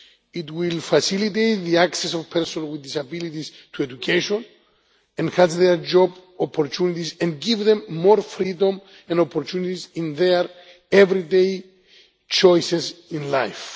It will facilitate the access of persons with disabilities to education, enhance their job opportunities and give them more freedom and opportunities in their everyday choices in life.